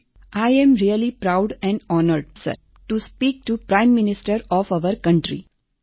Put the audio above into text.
I am really proud and honoured sir to speak to prime minister of our country